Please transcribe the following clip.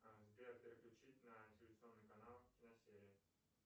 сбер переключить на телевизионный канал киносерия